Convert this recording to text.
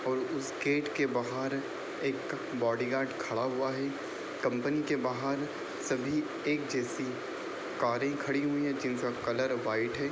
और उस गेट के बाहर एक बॉडीगार्ड खड़ा हुआ है। कंपनी के बाहर सभी एक जैसी कारें खड़ी हुई हैं जिनका कलर वाइट है।